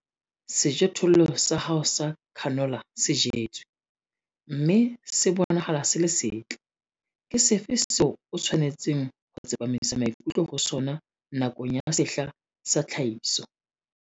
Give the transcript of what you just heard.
Sejothollo sa hao sa canola se jetswe, mme se bonahala se le setle. Ke sefe seo o tshwanetseng ho tsepamisa maikutlo ho sona nakong ya sehla sa tlhahiso?